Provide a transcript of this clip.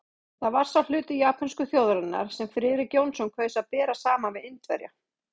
Það var sá hluti japönsku þjóðarinnar, sem Friðrik Jónsson kaus að bera saman við Indverja.